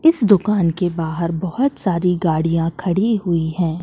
इस दुकान के बहार बहोत सारी गाड़ियाँ खड़ी हुई है।